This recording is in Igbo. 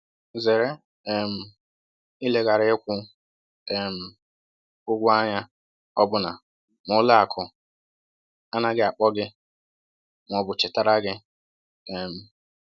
Zere um ileghara ịkwụ um ụgwọ anya ọbụna ma ụlọ akụ anaghị akpọ gị ma ọ bụ chetara gị. um